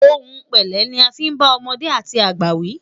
òhun pẹlẹ ní a fin bá ọmọdé àti àgbà wi